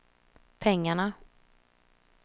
pengarna